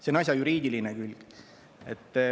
See on asja juriidiline külg.